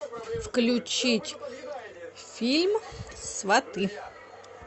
включить фильм сваты